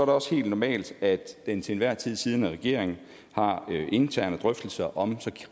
også helt normalt at den til enhver tid siddende regering har interne drøftelser om så